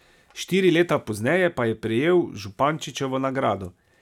Štiri leta pozneje pa je prejel Župančičevo nagrado.